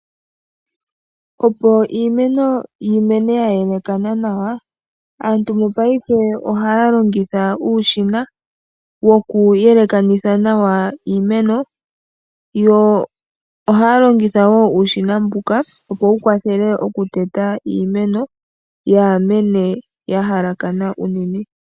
Opo iimeno yi mene ya yelekana nawa, aantu mopaife ohaa longitha uushina wokuyelekanitha nawa iimeno yo ohaya longitha wo uushina mbuka, opo wu kwathele okuteta iimeno yaa mene ya halakana unene.